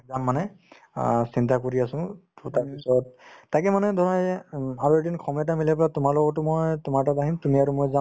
যাম মানে অ চিন্তা কৰি আছো to তাৰপিছত তাকে মানে ধৰা এয়ে উম আৰু এদিন সময় এটা মিলাই পেলাই তোমাৰ লগতো মই তোমাৰ তাত আহিম তুমি আৰু মই যাম